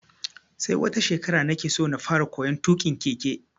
Sai wata shekara nake so na fara koyon tuƙin keke.